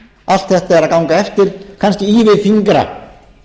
allt þetta er að ganga eftir kannski ívið þyngra